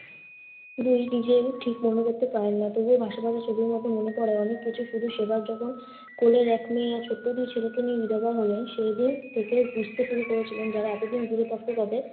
দুই, নিজেও ঠিক মনে করতে পারেন না। তবে ভাসা ভাসা ছবির মতো মনে করায় অনেক কিছু। শুধু সেবার যখন কোলের এক মেয়ে ছোট্ট দুই ছেলেকে নিয়ে বিধবা হলেন সেই দিন থেকে বুঝতে পেরে গিয়েছিলেন যারা এতদিন দূরে থাকতে তাদের